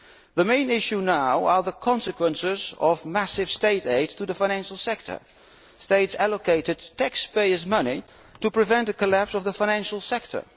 The main issue now is the consequences of massive State aid to the financial sector states allocated taxpayers' money to prevent the collapse of the financial sector.